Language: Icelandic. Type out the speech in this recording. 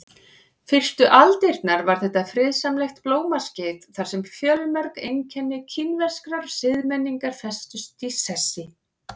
Fyrstu aldirnar var þetta friðsamlegt blómaskeið þar sem fjölmörg einkenni kínverskrar siðmenningar festust í sessi.